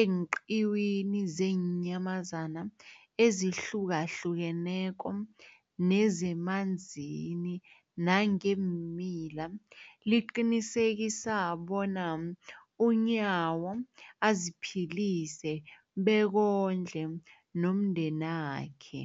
eenqiwini zeenyamazana ezihlukahlukeneko nezemanzini nangeemila, liqinisekisa bona uNyawo aziphilise bekondle nomndenakhe.